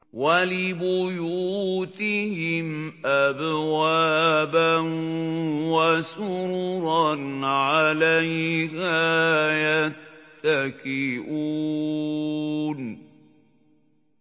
وَلِبُيُوتِهِمْ أَبْوَابًا وَسُرُرًا عَلَيْهَا يَتَّكِئُونَ